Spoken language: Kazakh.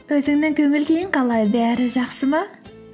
өзіңнің көңіл күйің қалай бәрі жақсы ма